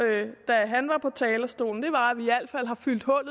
da han var på talerstolen var